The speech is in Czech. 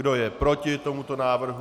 Kdo je proti tomuto návrhu?